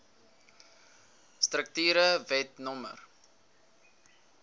strukture wet no